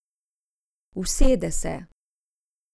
Usede se.